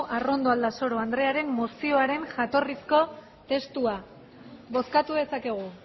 arrondo aldasoro andrearen mozioaren jatorrizko testua bozkatu dezakegu